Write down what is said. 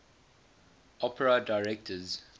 opera directors